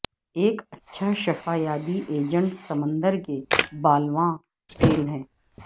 ایک اچھا شفا یابی ایجنٹ سمندر کے بالواں تیل ہے